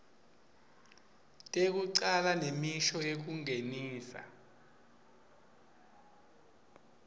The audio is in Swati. tekucala nemisho yekungenisa